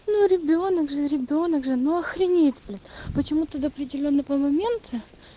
ну ребёнок же ребёнок же но охренеть блин почему тогда до определённого момента